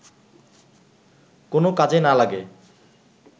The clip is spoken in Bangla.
কোনো কাজে না লাগে